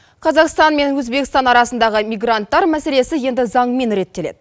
қазақстан мен өзбекстан арасындағы мигранттар мәселесі енді заңмен реттеледі